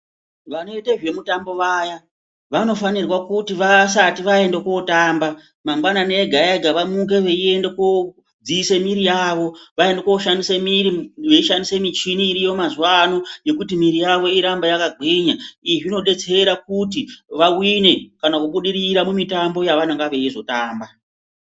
Vanoite zve mutambo vaya vano fanirwa kuti vasati vaenda kotamba mangwanani ega ega vamuke vei ende ko dziise mwiri yavo vaende ko shandise mwiri vei shandise michini iriyo mazuva ano yekuti mwiri yavo irambe yaka gwinya izvi zvino detsera kuti va wine kana ku budirira mu mitambo ya vanonga veizo tamba.